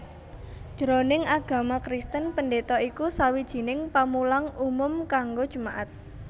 Jroning agama Kristen pendeta iku sawijining pamulang umum kanggo jemaat